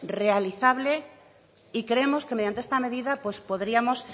realizable y creemos que mediante esta medida pues podríamos